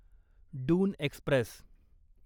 Doon Express